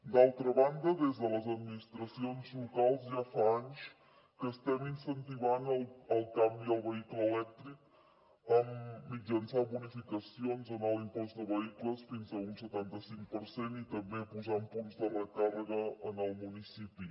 d’altra banda des de les administracions locals ja fa anys que estem incentivant el canvi al vehicle elèctric mitjançant bonificacions en l’impost de vehicles fins a un setanta cinc per cent i també posant punts de recàrrega en el municipi